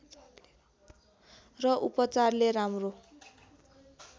र उपचारले राम्रो